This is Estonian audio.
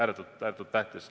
See on ääretult tähtis.